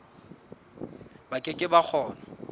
ba ke ke ba kgona